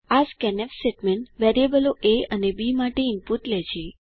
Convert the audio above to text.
આ scanf statement વેરિયેબલો A અને બી માટે ઇનપુટ લે છે